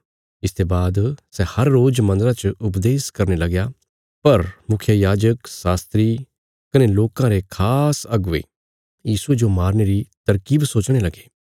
इसते बाद सै हर रोज मन्दरा च उपदेश करने लगया पर मुखियायाजक शास्त्री कने लोकां रे खास अगुवे यीशुये जो मारने री तरकीब सोचणे लगे